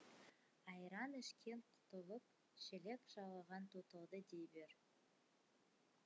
айран ішкен құтылып шелек жалаған тұтылды дей бер